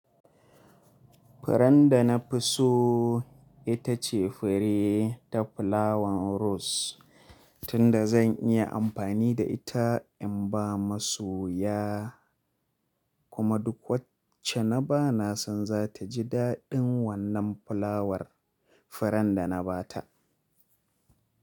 Furen da na fi so ita ce fure ta fulawan ros. Tunda zan iya amfani da ita in ba masu ya, kuma duk wacce na ba na san za ta ji daɗin wannan fulawar furen da na ba ta.